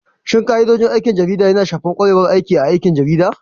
Shin ka'idodin aikin jarida yana shafar ƙwarewar aiki A aikin jarida?